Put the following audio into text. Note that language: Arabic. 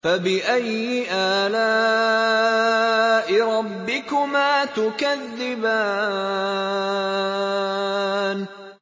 فَبِأَيِّ آلَاءِ رَبِّكُمَا تُكَذِّبَانِ